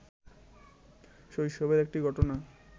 শৈশবের একটি ঘটনা